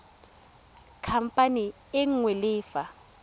khamphane e nngwe le fa